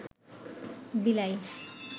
বিলাই